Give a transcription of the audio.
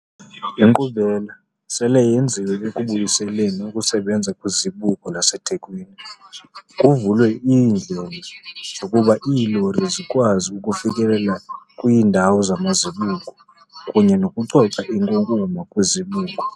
Inkqubela sele yenziwe ekubuyiseleni ukusebenza kwiZibuko laseThekwini, kuvulwe ezinye iindlela zokuba iilori zikwazi ukufikelela kwiindawo zamazibuko kunye nokucoca inkunkuma kwizibuko.